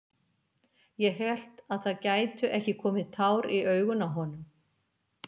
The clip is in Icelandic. Ég hélt að það gætu ekki komið tár í augun á honum!